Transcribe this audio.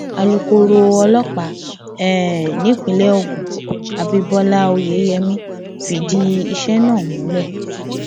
alukkoro ọlọpàá um nípìnlẹ ogun abibọlá oyeyèmí fìdí iṣẹ náà múlẹ